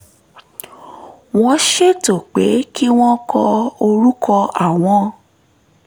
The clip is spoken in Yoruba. wọ́n ṣètò pé kí wọ́n kọ orúkọ àwọn